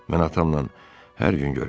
Mən atamla hər gün görüşürəm.